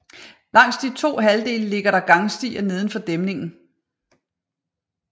Langs de to halvdele ligger der gangstier nedenfor dæmningen